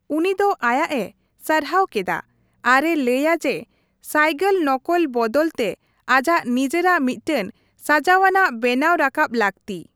ᱩᱱᱤ ᱫᱚ ᱟᱭᱟᱜᱼᱮ ᱥᱟᱨᱦᱟᱣ ᱠᱮᱫᱟ ᱟᱨ ᱮ ᱞᱟᱹᱭᱟ ᱡᱮ ᱥᱟᱭᱜᱚᱞ ᱱᱚᱠᱚᱞ ᱵᱚᱫᱚᱞ ᱛᱮ ᱟᱡᱟᱜ ᱱᱤᱡᱮᱨᱟᱜ ᱢᱤᱫᱴᱟᱝ ᱥᱟᱡᱟᱣᱱᱟᱜ ᱵᱮᱱᱟᱣ ᱨᱟᱠᱟᱵ ᱞᱟᱹᱠᱛᱤ ᱾